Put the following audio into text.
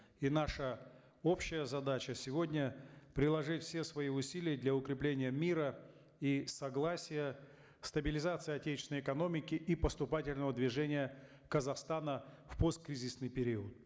и наша общая задача сегодня приложить все свои усилия для укрепления мира и согласия стабилизации отечественной экономики и поступательного движения казахстана в посткризисный период